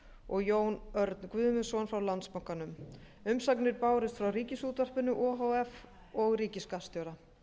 og jón örn guðmundsson frá landsbankanum umsagnir bárust frá ríkisútvarpinu o h f og ríkisskattstjóra